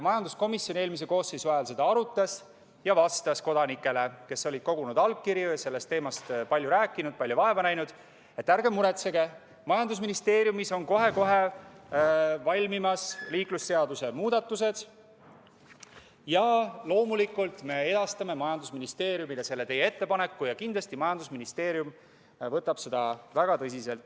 Majanduskomisjon eelmise koosseisu ajal arutas seda ja vastas kodanikele, kes olid allkirju kogunud ja sellest teemast palju rääkinud, palju vaeva näinud, et ärge muretsege, majandusministeeriumis on kohe-kohe valmimas liiklusseaduse muudatused ja loomulikult me edastame majandusministeeriumile teie ettepaneku ja kindlasti võtab majandusministeerium seda väga tõsiselt.